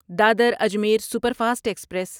Dadar Ajmer superfast express